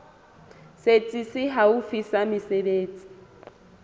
setsi se haufi sa mesebetsi